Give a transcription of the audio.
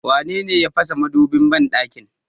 Wanene ya fasa madubin banɗakin?